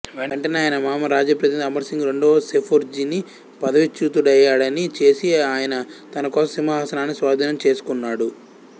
వెంటనే ఆయన మామ రాజప్రతినిధి అమర్సింగు రెండవ సెర్ఫోజీని పదవీచ్యుతుడయ్యాడిని చేసి ఆయన తన కోసం సింహాసనాన్ని స్వాధీనం చేసుకున్నాడు